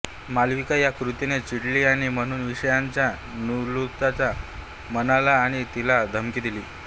मालविका या कृतीने चिडली आणि म्हणून विषाच्या नलूच्या मनाला आणि तिला धमकी दिली